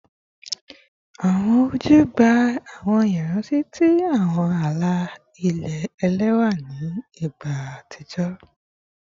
Awọn oju gba awọn iranti ti awọn ala-ilẹ ẹlẹwa ni igba atijọ